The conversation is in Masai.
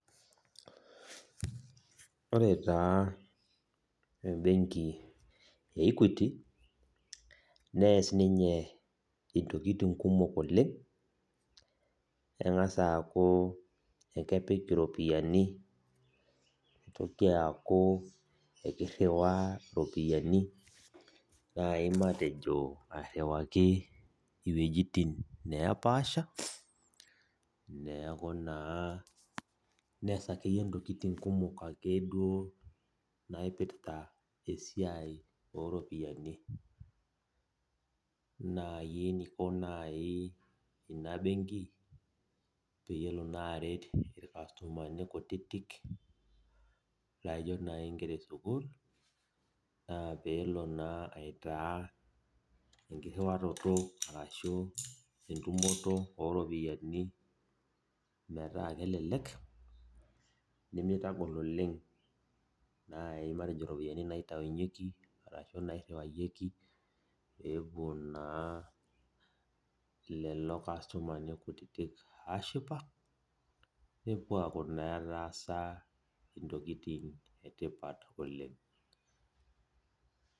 Ore taa ebenki e Equity, nees ninye intokiting kumok oleng, eng'asa aku ekepik iropiyiani, nitoki aku ekirriwaa iropiyiani, nai matejo airriwaki iwuejiting nepaasha, neeku naa nees akeyie intokiting kumok akeduo naipirta esiai oropiyiani. Nai eniko nai ina benki, pelo naa aret irkastomani kutitik, laijo nai nkera esukuul, naa peelo naa aitaa enkirriwaroto arashu entumoto oropiyiani metaa kelelek, nimitagol oleng nai matejo ropiyiani naitaunyeki arashu nairriwarieki, pepuo naa lelo kastomani kutitik ashipa, nepuo aku naa etaasa intokiting etipat oleng.